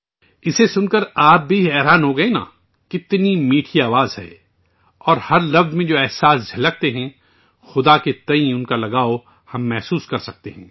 یہ سن کر آپ بھی حیران رہ جائیں گے! کتنی پیاری آواز اور جذبات جو ہر لفظ میں جھلکتے ہیں، ہم خدا کے ساتھ اس کی وابستگی کو محسوس کر سکتے ہیں